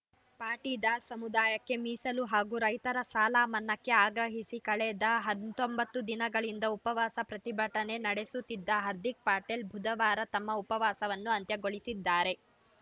ಪಾಟಿದಾರ್‌ ಸಮುದಾಯಕ್ಕೆ ಮೀಸಲು ಹಾಗೂ ರೈತರ ಸಾಲ ಮನ್ನಾಕ್ಕೆ ಆಗ್ರಹಿಸಿ ಕಳೆದ ಹತ್ತೊಂಬತ್ತು ದಿನಗಳಿಂದ ಉಪವಾಸ ಪ್ರತಿಭಟನೆ ನಡೆಸುತ್ತಿದ್ದ ಹಾರ್ದಿಕ್‌ ಪಟೇಲ್‌ ಬುಧವಾರ ತಮ್ಮ ಉಪವಾಸವನ್ನು ಅಂತ್ಯಗೊಳಿಸಿದ್ದಾರೆ